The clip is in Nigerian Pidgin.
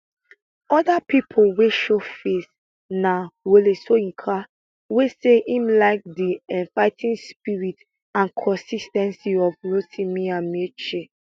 oda pipo wey showface na wole soyinka wey say im like di um fighting spirit and consis ten cy of rotimi amaechi